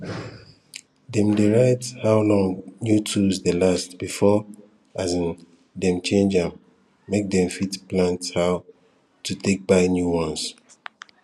dem diy write how long new tools dey last before um dem change am make dem fit plan how to take buy new ones